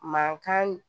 Mankan